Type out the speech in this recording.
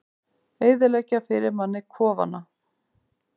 Eyðileggja fyrir manni kofana!